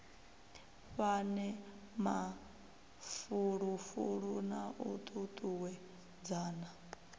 fhane mafulufulo na u tutuwedzana